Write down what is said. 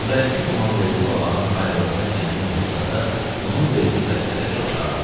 Nurəddin İmamverdi babanın ayrıldığında qəmli oldusa da, onun verdiyi vədlərə çox şad idi.